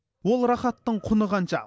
бұл рахаттың құны қанша